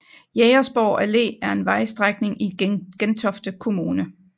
Jægersborg Allé er en vejstrækning i Gentofte Kommune